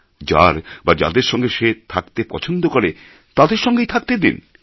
যার বা যাদের সঙ্গে সে থাকতে পছন্দ করে তাদের সঙ্গে থাকতে দিন